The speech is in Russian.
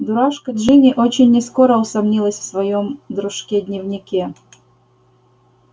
дурашка джинни очень нескоро усомнилась в своём дружке дневнике